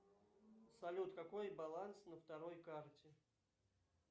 салют какой баланс на второй карте